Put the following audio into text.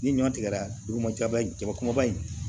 Ni ɲɔ tigɛra duguma jaba kumaba in